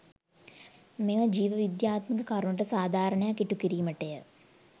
මෙම ජීව විද්‍යාත්මක කරුණට සාධාරණයක් ඉටු කිරීමටය.